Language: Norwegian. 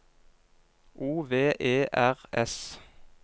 O V E R S